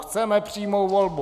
Chceme přímou volbu!